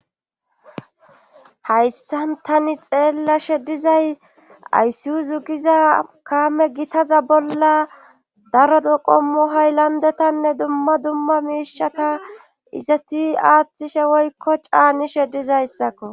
Hayssan tani xeellashe dizay ayssiuzu giza kaame gitaza bolla darodo qommu hay landetanne dumma dumma miishata izati aaththishe woykko caanishe dizayssakko.